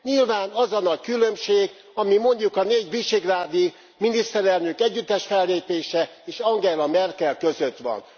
Nyilván az a nagy különbség, ami mondjuk a négy visegrádi miniszterelnök együttes fellépése és Angela Merkel között van.